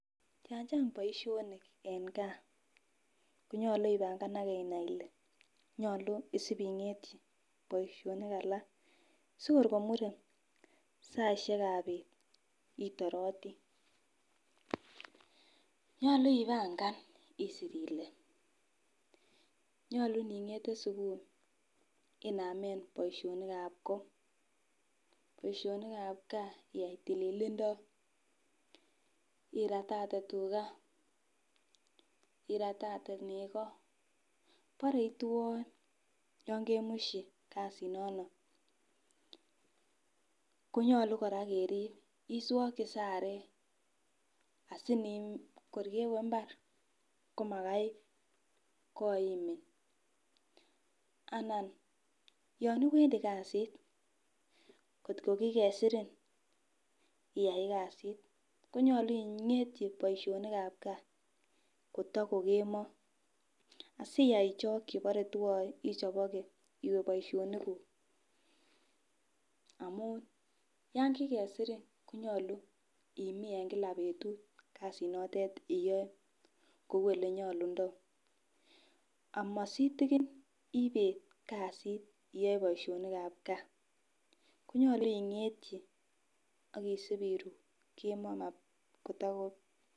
Yon chang boishonik en gaa konyolu ipanganage inai Ile nyolu isibingetyi boishonik alak sikor komure saishekab bet itoroti. Nyolu ipangan isir Ile nyolu ningete subuhi inamen boishoni ab koo, boishonikab gaa iyai tililindo iratate tugaa, iratate neko bore itwoe yon kemushi kasit nono konyolu Koraa kerib iswoki sare asini kor kewee imbar komagai koimin anan yon iwendii kasit kotko ki kesirin iyai kasit konyolu ingetyi boishonikab gaa koto ko kemo asiyai ichoki bore twoe ichoboke iwee boishonik kuk amun yon kikesirin konyolu imiin en kila betut kasit notet iyoe kou olenyolundoo amositikin ibet kasit iyoe boishonikab gaa. Konyolu ingetyi akisipiru kemoo kotoko.